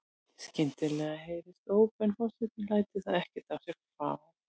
Skyndilega heyrist óp en forsetinn lætur það ekkert á sig fá.